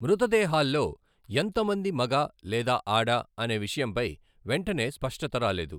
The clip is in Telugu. మృతదేహాల్లో ఎంతమంది మగ లేదా ఆడ అనే విషయంపై వెంటనే స్పష్టత రాలేదు.